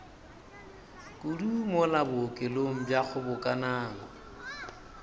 kudu mola bookelong bja kgobokanang